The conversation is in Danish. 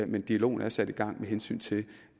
men dialogen er sat i gang med hensyn til